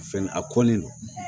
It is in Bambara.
Fɛn a kɔli